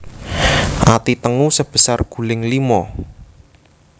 Ati tengu sebesar guling limo